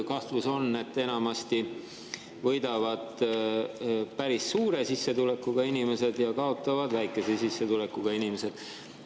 Kahtlus on, et enamasti võidavad päris suure sissetulekuga inimesed ja kaotavad väikese sissetulekuga inimesed.